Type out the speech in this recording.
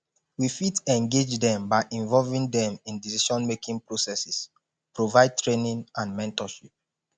we fit engage dem by involving dem in decisionmaking processes provide training and mentorship